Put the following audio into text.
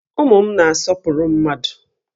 Ụmụ m na-asọpụrụ mmadụ